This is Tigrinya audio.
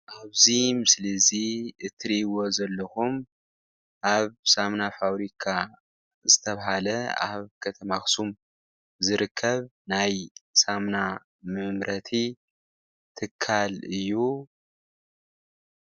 ኣብዚ ምስሊ እዚ እትርእይዎ ዘለኹም ኣብ ሳሙና ፋብሪካ ዝተብሃለ ኣብ ከተማ ኣክሱም ዝርከብ ናይ ሳሙና መምረቲ ትካል እዩ።